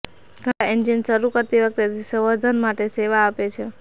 ઠંડા એન્જિન શરૂ કરતી વખતે તે સંવર્ધન માટે સેવા આપે છે